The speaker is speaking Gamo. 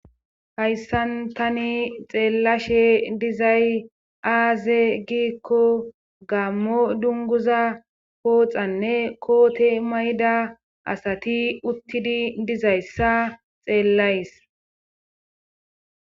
Hayssan tani xeellashe dizay aaze giikko gammo dunguza pooxanne koote mayda asati uttidi dizayssa xeellays.